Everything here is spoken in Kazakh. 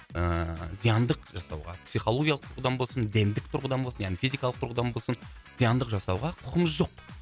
ыыы зияндық жасауға психологиялық тұрғыдан болсын гендік тұрғыдын болсын яғни физикалық тұрғыдан болсын зияндық жасауға құқыңыз жоқ